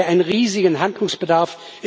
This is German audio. Da haben wir einen riesigen Handlungsbedarf.